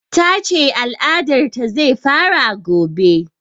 Ta ce al'adar ta zai fara gobe